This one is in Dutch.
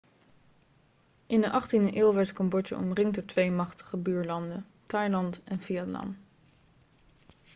in de 18e eeuw werd cambodja omringd door twee machtige buurlanden thailand en vietnam